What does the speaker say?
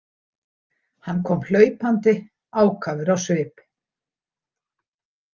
Hann kom hlaupandi ákafur á svip.